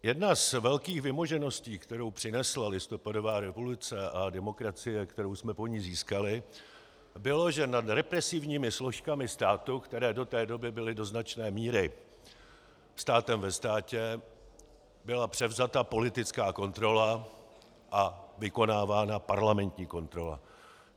Jednou z velkých vymožeností, kterou přinesla listopadová revoluce a demokracie, kterou jsme po ní získali, bylo, že nad represivními složkami státu, které do té doby byly do značné míry státem ve státě, byla převzata politická kontrola a vykonávána parlamentní kontrola.